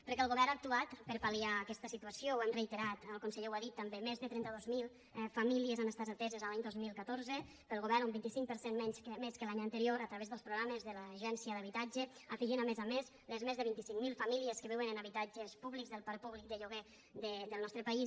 perquè el govern ha actuat per a pal·liar aquesta situació ho hem reiterat el conseller ho ha dit també més de trenta dos mil famílies han estat ateses l’any dos mil catorze pel govern un vint cinc per cent més que l’any anterior a través dels programes de l’agència de l’habitatge afegint hi a més a més les més de vint cinc mil famílies que viuen en habitatges públics del parc públic de lloguer del nostre país